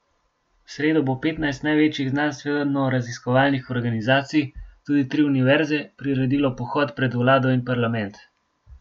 V sredo bo petnajst največjih znanstvenoraziskovalnih organizacij, tudi tri univerze, priredilo pohod pred vlado in parlament.